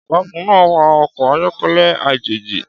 Ọ̀gágun náà wa ọkọ̀ ayọ́kẹ́lẹ́ àjèjì.